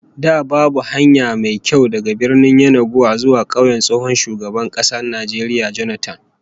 Da babu hanya mai kyau daga Birnin Yenagoa zuwa kauyen tsohon shugaban Najeriya Jonathan